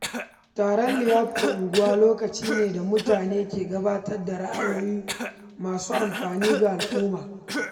Taron liyafar unguwa lokaci ne da mutane ke gabatar da ra’ayoyi masu amfani ga al’umma.